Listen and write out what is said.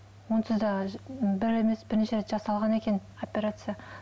онсыз да бір емес бірнеше рет жасалған екен операция